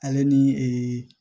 Ale ni ee